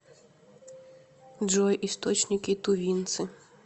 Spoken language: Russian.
джой источники тувинцы